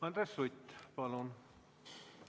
Andres Sutt, palun!